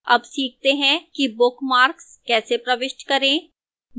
अब सीखते हैं कि bookmarks कैसे प्रविष्ट करें